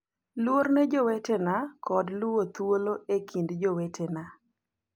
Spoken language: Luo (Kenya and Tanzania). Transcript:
Luor ne jowetena kod luwo thuolo e kind jowetena,